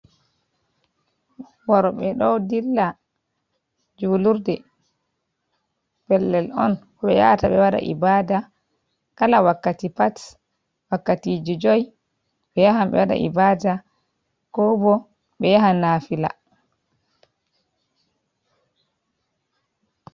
Worɓe ɗo dilla juulurde pellel on ɓe yaata ɓe waɗa ibada kala wakkati pat, wakkati ji jui ɓe yaha ɓe waɗa ibada ko bo ɓe yaha nafila.